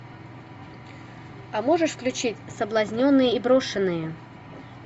а можешь включить соблазненные и брошенные